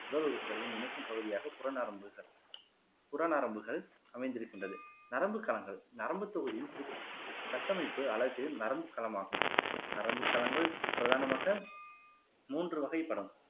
உடல் உறுப்புகளையும் இணைக்கும் பகுதியாக புறநரம்புகள் புறநரம்புகள் அமைந்திருக்கின்றது நரம்புக் களங்கள் நரம்புத் தொகுதியில் புற் கட்டமைப்பு அழகு நரம்பு களமாகும் நரம்புக் களங்கள் பிரதானமாக மூன்று வகைப்படும்